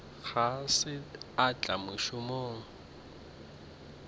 ga se a tla mošomong